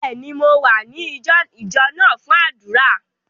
Bẹ́ẹ̀ni, Mò wa ní ìjọ náà fun àdúrà.